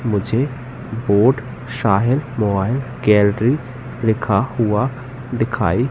मुझे board Shahil mobile gallery लिखा हुआ दिखाई--